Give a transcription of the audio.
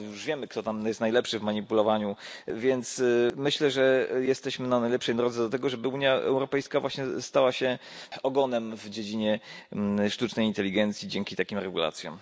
My już wiemy, kto jest najlepszy w manipulowaniu, więc myślę, że jesteśmy na najlepszej drodze do tego, żeby Unia Europejska właśnie stała się ogonem w dziedzinie sztucznej inteligencji dzięki takim regulacjom.